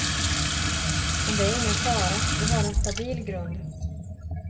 Men det är ingen fara, vi har en stabil grund.